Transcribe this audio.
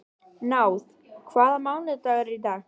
Náð, hvaða mánaðardagur er í dag?